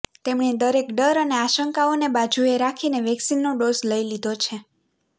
તેમણે દરેક ડર અને આશંકાઓને બાજુએ રાખીને વેક્સિનનો ડોઝ લઈ લીધો છે